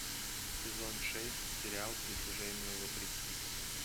сезон шесть сериал притяжению вопреки